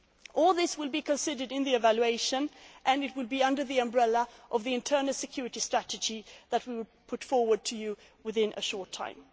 cooperation. All this will be considered in the evaluation and it will be under the umbrella of the internal security strategy that we will put forward to you within